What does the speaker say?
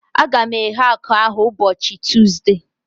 A ga m eghe akụ ahu ụbọchị Tuuzde